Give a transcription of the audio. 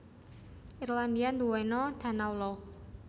Irlandia ndhuweno danau lough